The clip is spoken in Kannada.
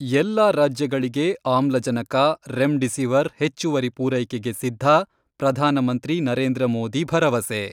ಎಲ್ಲಾ ರಾಜ್ಯಗಳಿಗೆ ಆಮ್ಲಜನಕ, ರೆಮ್ ಡಿಸಿವರ್ ಹೆಚ್ಚುವರಿ ಪೂರೈಕೆಗೆ ಸಿದ್ಧ ಪ್ರಧಾನಮಂತ್ರಿ ನರೇಂದ್ರ ಮೋದಿ ಭರವಸೆ.